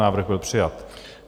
Návrh byl přijat.